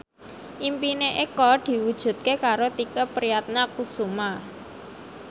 impine Eko diwujudke karo Tike Priatnakusuma